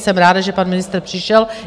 Jsem ráda, že pan ministr přišel.